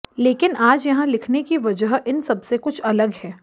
लेकिन आज यहां लिखने की वजह इन सबसे कुछ अलग है